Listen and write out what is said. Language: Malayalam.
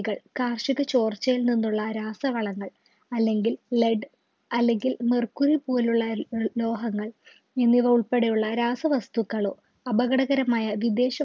കൾ കാർഷിക ചോർച്ചയിൽ നിന്നുള്ള രാസവളങ്ങൾ അല്ലെങ്കിൽ led അല്ലെങ്കിൽ mercury പോലുള്ള ലോ ലോഹങ്ങൾ എന്നിവ ഉൾപ്പെടെ ഉള്ള രാസവസ്തുക്കളും അപകടകരമായ വിദേശികൾ